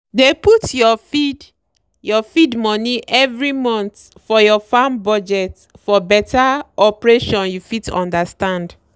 dey put your feed your feed money every month for your farm budget for better operation you fit understand.